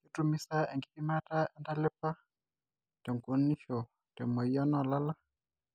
ketumi saa enkipimata entalipa te tunganisho te moyian oo lala